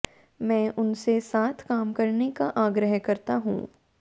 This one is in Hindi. मैं उनसे साथ काम करने का आग्रह करता हूं